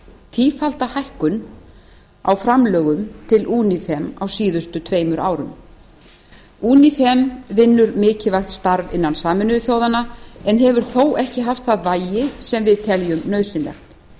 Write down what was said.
tífalda hækkun á framlögum til unifem á síðustu tveimur árum unifem vinnur mikilvægt starf innan sameinuðu þjóðanna en hefur þó ekki haft það vægi sem við teljum nauðsynlegt